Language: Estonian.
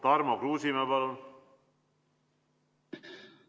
Tarmo Kruusimäe, palun!